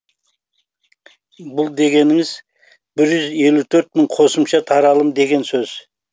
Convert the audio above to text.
бұл дегеніңіз бір жүз елу төрт мың қосымша таралым деген сөз